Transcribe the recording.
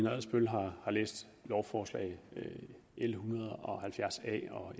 adsbøl har læst lovforslagene l en hundrede og halvfjerds a og